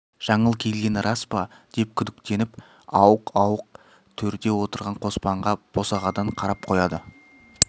жаңыл келгені рас па деп күдіктеніп ауық-ауық төрде отырған қоспанға босағадан қарап қояды